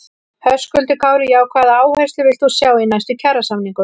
Höskuldur Kári: Já, hvaða áherslur villt þú sjá í næstu kjarasamningum?